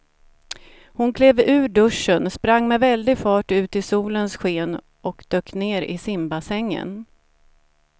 Hon klev ur duschen, sprang med väldig fart ut i solens sken och dök ner i simbassängen.